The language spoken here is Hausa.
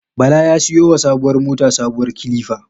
Bala ya siyo wa sabuwar motar sabuwar kilifa